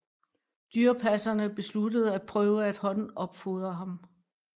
Dyrepasserne besluttede at prøve at håndopfodre ham